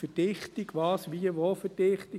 Verdichtung: Was, wie, wo Verdichtung?